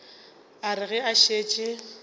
a re ge a šetše